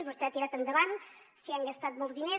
vostè ha tirat endavant s’hi han gastat molts diners